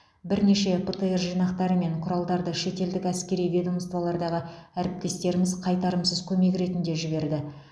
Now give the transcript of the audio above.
бірнеше птр жинақтары мен құралдарды шетелдік әскери ведомстволардағы әріптестеріміз қайтарымсыз көмек ретінде жіберді